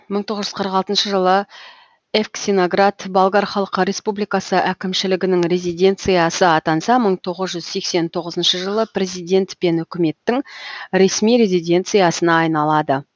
мың тоғыз жүз қырық алтыншы жылы евксиноград болгар халық республикасы әкімшілігінің резиденциясы атанса мың тоғыз жүз сексен тоғызыншы жылы президент пен үкіметтің ресми резиденциясына айналады